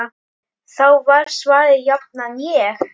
Þá var svarið jafnan: Ég?!